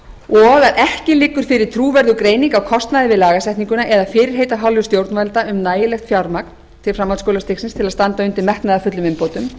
b að ekki liggur fyrir trúverðug greining á kostnaði við lagasetninguna eða fyrirheit af hálfu stjórnvalda um nægilegt fjármagn til framhaldsskólastigsins til að standa undir metnaðarfullum umbótum